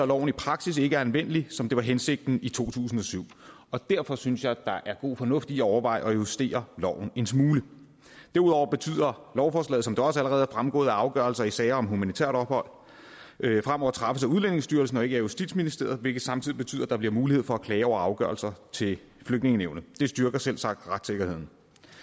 loven i praksis ikke er anvendelig som det var hensigten i to tusind og syv og derfor synes jeg der er god fornuft i at overveje at justere loven en smule derudover betyder lovforslaget som det også allerede er fremgået at afgørelser i sager om humanitært ophold fremover træffes af udlændingestyrelsen og ikke af justitsministeriet hvilket samtidig betyder at der bliver mulighed for at klage over afgørelser til flygtningenævnet det styrker selvsagt retssikkerheden